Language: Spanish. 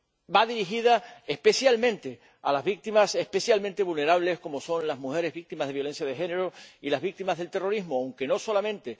Va dirigida especialmente a las víctimas especialmente vulnerables como son las mujeres víctimas de violencia de género y las víctimas del terrorismo, aunque no solamente.